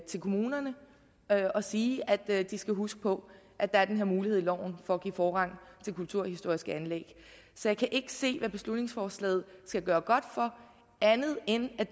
til kommunerne og sige at de skal huske på at der er den her mulighed i loven for at give forrang til kulturhistoriske anlæg så jeg kan ikke se hvad beslutningsforslaget skal gøre godt for andet end at